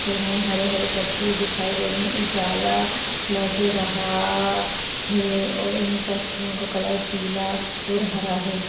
हरे हरे पत्ती दिखाई दे रही है। उजाला लग रहा है और इन पत्तियों का कलर पीला और हरा है।